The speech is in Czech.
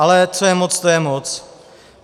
Ale co je moc, to je moc.